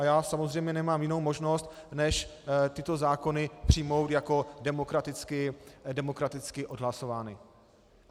A já samozřejmě nemám jinou možnost než tyto zákony přijmout jako demokraticky odhlasované.